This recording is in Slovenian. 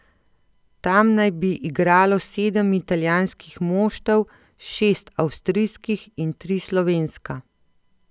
Tam naj bi igralo sedem italijanskih moštev, šest avstrijskih in tri slovenska.